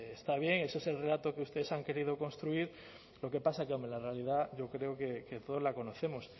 está bien eso es el relato que ustedes han querido construir lo que pasa que hombre la realidad yo creo que todos la conocemos